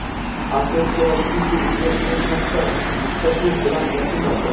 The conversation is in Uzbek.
"Atletiko" va "Siti" uchrashuvi katta mushtlashuv bilan yakunlandi.